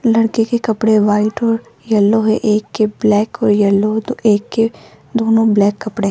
लड़के के कपड़े व्हाइट और येलो है एक के ब्लैक और येलो तो एक के दोनों ब्लैक कपड़े।